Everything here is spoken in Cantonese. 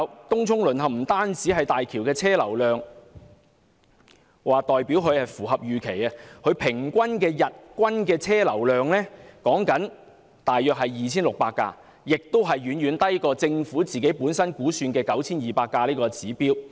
東涌淪陷並不代表港珠澳大橋的車流量符合預期，大橋日均車流量只有大約 2,600 架次，遠低於政府估算的 9,200 架次的指標。